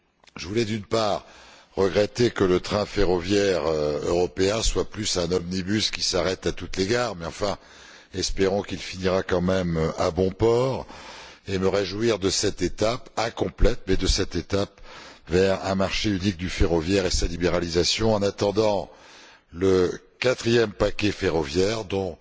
Je voulais, d'une part, regretter que train ferroviaire européen soit plus un omnibus qui s'arrête à toutes les gares, mais enfin, espérons qu'il finira quand même à bon port. D'autre part, je me réjouis de cette étape, incomplète certes, vers un marché unique du ferroviaire et vers sa libéralisation en attendant le quatrième paquet ferroviaire, dont